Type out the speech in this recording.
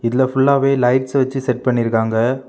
இதுல ஃபுல்லாவே லைட்ஸ் வச்சு செட் பன்னிருக்காங்க.